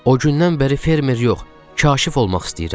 O gündən bəri fermer yox, kaşif olmaq istəyirəm.